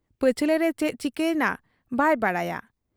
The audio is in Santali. ᱯᱟᱹᱪᱷᱞᱟᱹᱨᱮ ᱪᱮᱫ ᱪᱤᱠᱟᱹᱭᱮᱱᱟ ᱵᱟᱭ ᱵᱟᱰᱟᱭᱟ ᱾